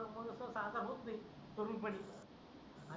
तरुण पणी